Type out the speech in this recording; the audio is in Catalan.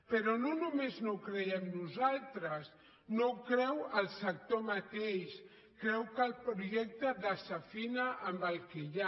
però no només no ho creiem nosaltres no ho creu el sector mateix creu que el projectes desafina amb el que hi ha